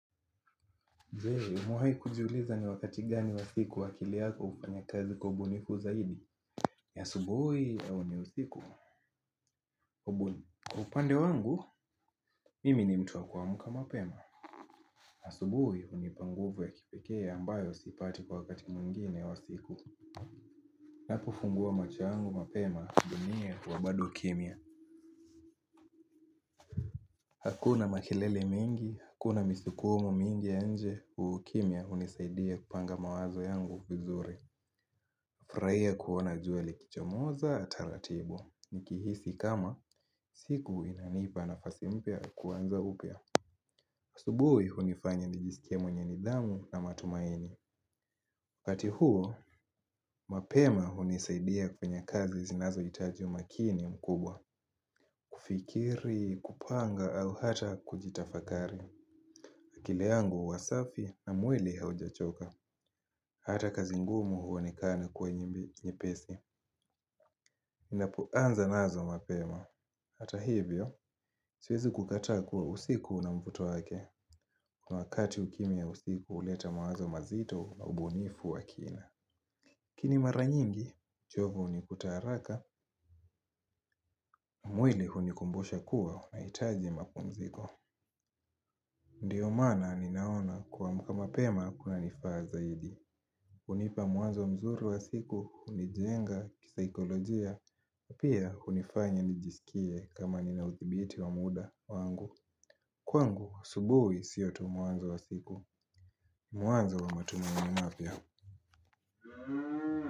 Je, umewahi kujuliza ni wakati gani wa siku akili yako hufanya kazi kwa ubunifu zaidi? Ni asubuhi au ni usiku? Ubu, kwa upande wangu. Mimi ni mtu wa wa kuamka mapema. Asubuhi hunipa nguvu ya kipekee ambayo sipati kwa wakati mwingine wa siku. Napofungua macho yangu mapema dunia huwa bado kimya. Hakuna makelele mingi, hakuna misukumo mingi ya nje, ukimya hunisaidia kupanga mawazo yangu vizuri. Furahia kuona jua likichomoza taratibu, nikihisi kama siku inanipa nafasi mpya ya kuanza upya. Asubuhi hunifanya nijisikie mwenye nidhamu na matumaini. Pati huo, mapema hunisaidia kwenye kazi zinazohitaji umakini mkubwa. Kufikiri, kupanga au hata kujitafakari. Akili yangu huwa safi na mwili haujachoka. Hata kazi ngumu huonekana kuwa nyepesi. Ninapoanza nazo mapema. Hata hivyo, siwezi kukataa kuwa usiku una mvuto wake. Kwa wakati ukimya ya usiku huleta mawazo mazito na ubunifu wa kina. Kini mara nyingi, uchovu hunikuta haraka. Mwili hunikumbusha kuwa nahitaji mapumziko. Ndiyo maana ninaona kuamka mapema kunanifaa zaidi. Hunipa mwanzo mzuri wa siku, hunijenga kisaikolojia. Pia hunifanya nijisikie kama nina uthibiti wa muda wangu. Kwangu, asubuhi siyo tu mwanzo wa siku. Mwanzo wa matumaini mapya.